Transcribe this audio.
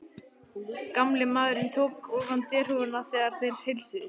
Gamli maðurinn tók ofan derhúfuna, þegar þeir heilsuðust.